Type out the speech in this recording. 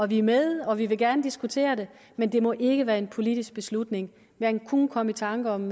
vi er med og vi vil gerne diskutere det men det må ikke være en politisk beslutning man kunne komme i tanker om